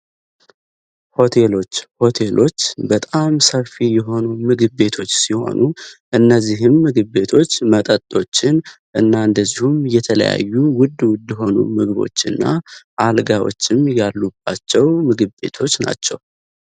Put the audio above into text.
ሆቴሎች ሆቴሎች በጣም ሰፊ የሆኑ ምግብ ቤቶች ሲሆኑ እነዚህም ምግብ ቤቶች መጠጦችን ና የተለያዩ ምግቦችን ያጠቃልላሉ።